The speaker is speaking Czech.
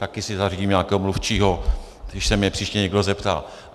Také si zařídím nějakého mluvčího, když se mě příště někdo zeptá.